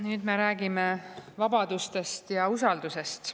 Nüüd me räägime vabadustest ja usaldusest.